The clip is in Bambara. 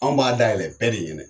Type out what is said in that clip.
Anw b'a dayɛlɛ bɛɛ de ɲɛnɛ.